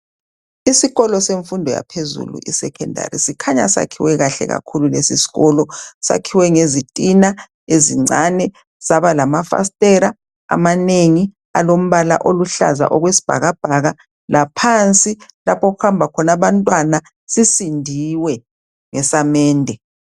isikolo semfundo yaphezulu i secondary sikhanya sakhiwe kahle kakhulu lesi sikolo sakhiwe ngezitina ezincane saba lama fasitela amanengi alombala oluhlaza okwesibhakabhaka laphansi lapho okuhamba khona abantwana sisindiwe ngesamende